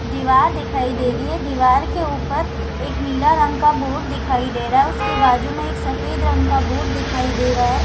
दिवार दिखाई दे रही है। दिवार के ऊपर एक नीला रंग का बोर्ड दिखाई दे रहा है। उसके बाजु में एक सफ़ेद रंग का बोर्ड दिखाई दे रहा है।